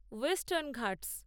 western Ghats